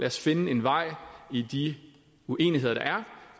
os finde en vej i de uenigheder der er